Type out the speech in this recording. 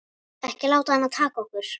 Ekki láta hana taka okkur.